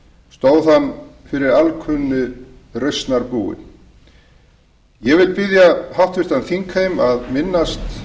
stóð hann fyrir alkunnu rausnarbúi ég bið háttvirtan þingheim að minnast